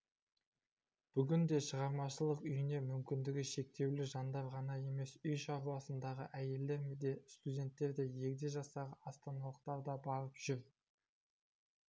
бүгінде шығармашылық үйіне мүмкіндігі шектеулі жандар ғана емес үй шаруасындағы әйелдер де студенттер де егде жастағы астаналықтар да барып жүр